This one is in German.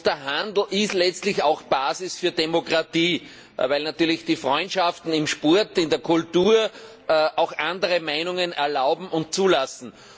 Der Handel ist letztlich auch Basis für Demokratie, weil natürlich die Freundschaften im Sport, in der Kultur auch andere Meinungen erlauben und zulassen.